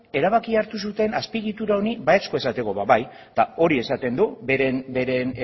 erabakia hartu zuten azpiegitura honi baiezkoa emateko ba bai eta hori esaten du bere